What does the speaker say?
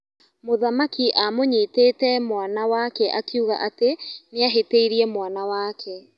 Mũthamaki amũnyitete mwana wake akiuga atĩ nĩahĩtĩirie mwana wake.